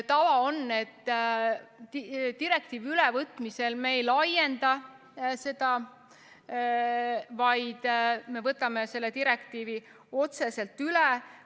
Tava on, et direktiivi ülevõtmisel me ei laienda seda, vaid me võtame selle direktiivi otseselt üle.